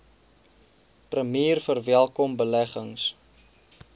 premier verwelkom beleggings